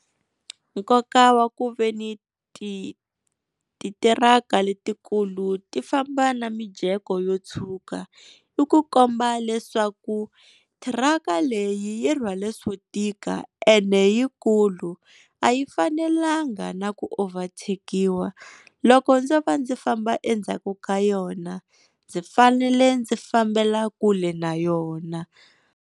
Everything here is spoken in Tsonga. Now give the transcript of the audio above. Nkoka wa ku veni ti ti thiraka letikulu ti famba na mijeko yo tshuka, i ku komba leswaku thiraka leyi yi rhwale swo tika and yikulu, a yi fanelanga na ku overtake-iwa loko ndzo va ndzi famba endzhaku ka yona ndzi fanele ndzi fambela kule na yona.